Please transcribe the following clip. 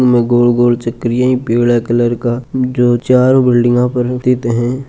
एम गोल गोल चक्रिया है पीला कलर का जो चारो बिल्डिंग पर स्थित है।